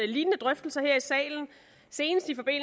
lignende drøftelser